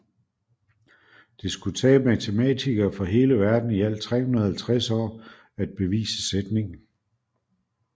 Det skulle tage matematikere fra hele verden i alt 350 år at bevise sætningen